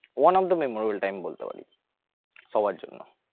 one of the memorable time বলতে পারিস সবার জন্য